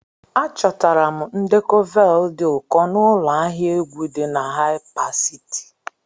Achọtara m ndekọ vinyl dị ụkọ n'ụlọ ahịa egwu dị na Haipasiti.